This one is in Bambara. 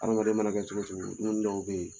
Adamaden mana kɛ cogo cogo dumuni dɔw bɛ yen